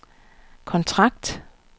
kontrakt